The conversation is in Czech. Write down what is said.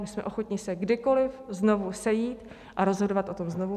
My jsme ochotni se kdykoliv znovu sejít a rozhodovat o tom znovu.